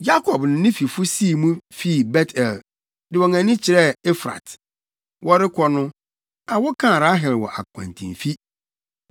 Yakob ne ne fifo sii mu fii Bet-El, de wɔn ani kyerɛɛ Efrat. Wɔrekɔ no, awo kaa Rahel wɔ akwantemfi.